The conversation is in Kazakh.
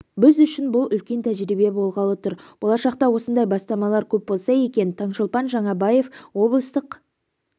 біз үшін бұл үлкен тәжірибе болғалы тұр болашақта осындай бастамалар көп болса екен таңшолпан жаңабаева облыстық